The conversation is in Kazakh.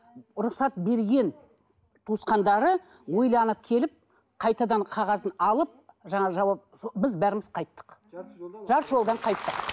рұқсат берген туысқандары ойланып келіп қайтадан қағазын алып жаңа жауап біз бәріміз қайттық жарты жолдан қайттық